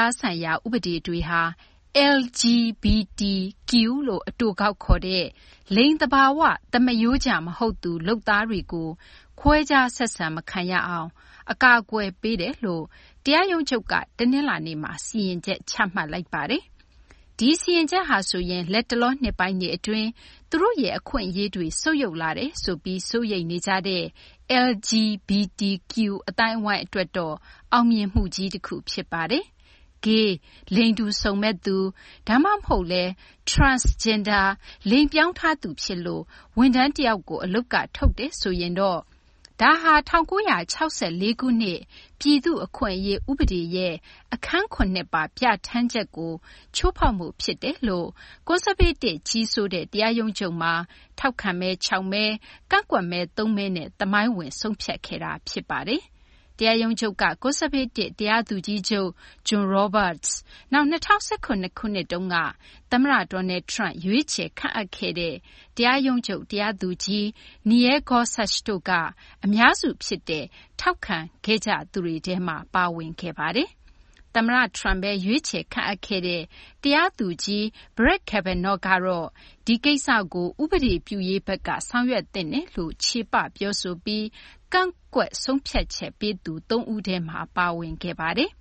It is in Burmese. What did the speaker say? ားဆိုင်ရာ ဥပဒေ တွေဟာ LGBTQ - လို့ အတိုကောက်ခေါ်တဲ့ လိင်စိတ်ကွဲပြားသူ ဝန်ထမ်းတွေကို ခွဲခြားဆက်ဆံ မခံရအောင် အကာအကွယ်ပေးတယ်လို့ နိုင်ငံတော် တရားရုံးချုပ် က တနလာၤနေ့မှာ စီရင်ချက် ချမှတ်လိုက်ပါတယ်။ ဒီစီရင်ချက်ဟာဆိုရင် လတ်တလော နှစ်ပိုင်းတွေ အတွင်း သူတို့ရဲ့ အခွင့်အရေးတွေ ဆုတ်ယုတ်လာတယ်ဆိုပြီး စိုးရိမ်နေကြတဲ့ LGBTQ အသိုင်းအဝိုင်း အတွက်တော့ အောင်မြင်မှုကြီး တခုဖြစ်ပါတယ်။ Gay လိင်တူစုံမက်သူ ဒါမှမဟုတ်လည်း Transgender လိင်ပြောင်းထားသူ ဖြစ်လို့ ဝန်ထမ်း တယောက်ကို အလုပ်က ထုတ်တယ်ဆိုရင်တော့ ဒါဟာ ၁၉၆၄ ခုနှစ် ပြည်သူ့အခွင့်အရေး ဥပဒေ ရဲ့ အခန်း ၇ ပါ ပြဌာန်းချက်ကို ချိုးဖောက်မှု ဖြစ်တယ်လို့ ကွန်ဆာဗေးတစ် ကြီးစိုးတဲ့ တရားရုံးချုပ်မှာ ထောက်ခံမဲ ၆ မဲ ကန့်ကွက်မဲ ၃ မဲနဲ့ သမိုင်းဝင် ဆုံးဖြတ်ခဲ့တာပါ။ တရားရုံးချုပ်က ကွန်ဆာဗေးတစ် တရားသူကြီးချုပ် John Roberts ၊ နောက် ၂၀၁၇ ခုနှစ်က သမ္မတ Donald Trump ရွေးချယ်ခန့်အပ်ခဲ့တဲ့ တရားရုံးချုပ် တရားသူကြီး Neil Gorsuch တို့က အများစု ဖြစ်တဲ့ ထောက်ခံမဲပေးသူတွေထဲမှာ ပါဝင်ခဲ့ပါတယ်။ သမ္မတ Trump ဘဲ ရွေးချယ် ခန့်အပ်ခဲ့တဲ့ တရားသူကြီး Brett Kavanaugh ကတော့ ဒီကိစ္စကို ဥပဒေပြုရေးဘက်က ဆောင်ရွက်သင့်တယ်လို့ ချေပပြောဆိုပြီး ကန့်ကွက်ဆုံးဖြတ်ချက် ပေးသူ ၃ ဦးထဲမှာ ပါဝင်ခဲ့ပါတယ်။